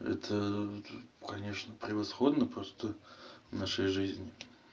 это ээ конечно превосходно просто в нашей жизни